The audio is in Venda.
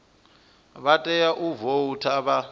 vha tea u voutha vha